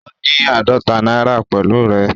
Ó ní àádọ́ta náírà pẹ̀lú rẹ̀.